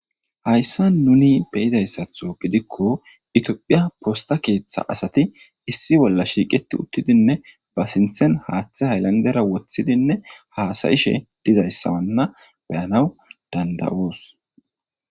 Hayssa nuni beyizayssatho gidikko itiophiya posta keeththa asati issi bolla shiiqeti uttidinne ba sinthen haaththe haylandera woththidinne haasayishe dizayssawanna beyanaw danda7oos.